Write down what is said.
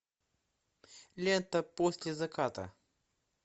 лента после заката